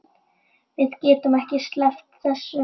Við getum ekki sleppt þessu.